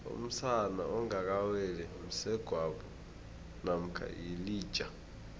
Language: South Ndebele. umsana ongaka weli msegwabo mamkha yilija